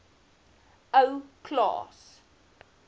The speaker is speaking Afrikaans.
ou klaas